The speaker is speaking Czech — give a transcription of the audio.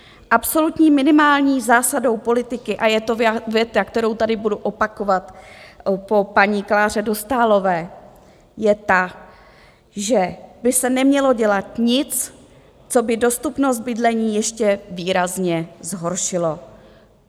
Absolutní minimální zásadou politiky - a je to věta, kterou tady budu opakovat po paní Kláře Dostálové - je ta, že by se nemělo dělat nic, co by dostupnost bydlení ještě výrazně zhoršilo.